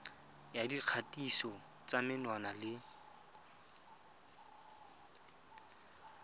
ya dikgatiso tsa menwana le